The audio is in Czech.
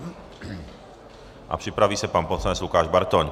A připraví se pan poslanec Lukáš Bartoň.